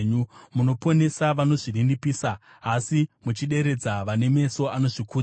Munoponesa vanozvininipisa, asi muchideredza vane meso anozvikudza.